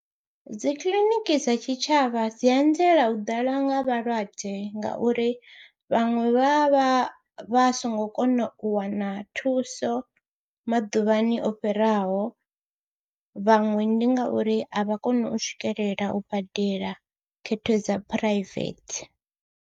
Dzi kiḽiniki dza tshitshavha dzi anzela u ḓala nga vhalwadze ngauri vhaṅwe vha vha vha songo kona u wana thuso maḓuvhani o fhiraho vhaṅwe ndi ngauri a vha koni u swikelela u badela khetho dza phuraivethe.